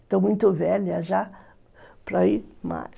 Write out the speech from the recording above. Estou muito velha já para ir, mas...